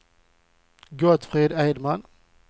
Gottfrid Edman